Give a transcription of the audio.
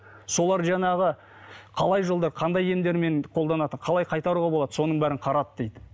солар жаңағы қалай жолдар қандай емдермен қоданатынын қалай қайтаруға болады соның бәрін қарады дейді